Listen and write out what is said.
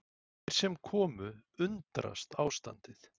Þeir sem komu undrast ástandið